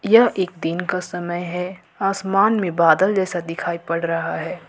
यह एक दिन का समय है आसमान में बादल जैसा दिखाई पड़ रहा है ।